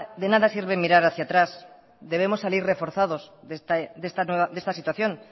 de nada sirve mirar hacia atrás debemos salir reforzados de esta situación